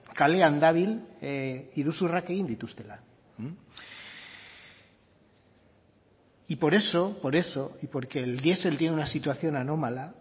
kalean dabil iruzurrak egin dituztela y por eso por eso y porque el diesel tiene una situación anómala